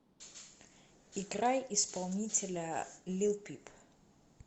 играй исполнителя лил пип